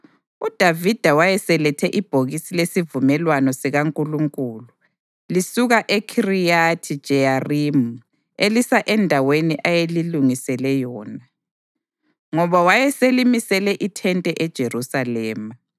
UDavida wayeselethe ibhokisi lesivumelwano sikaNkulunkulu lisuka eKhiriyathi-Jeyarimi elisa endaweni ayelilungisele yona, ngoba wayeselimisele ithente eJerusalema.